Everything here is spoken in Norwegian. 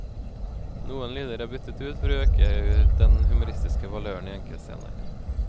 Noen lyder er byttet ut for å øke den humoristiske valøren i enkeltscener.